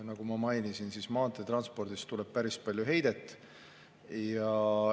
Nagu ma mainisin, maanteetranspordist tuleb päris palju heidet.